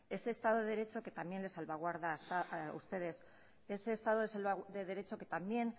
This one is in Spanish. ese estado de derecho que también le salvaguarda a ustedes ese estado de derecho que también